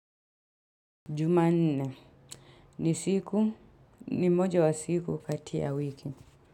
Jumanne ni siku, ni moja wa siku kati ya wiki.